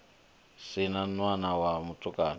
si na ṋwana wa mutukana